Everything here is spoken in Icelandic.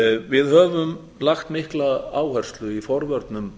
við höfum lagt mikla áherslu í forvörnum